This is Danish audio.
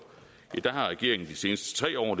i de seneste tre år